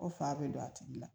Ko fa be don a tigi la